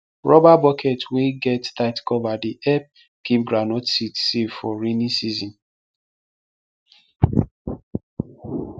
rubber bucket wey get tight cover dey help keep groundnut seed safe for rainy season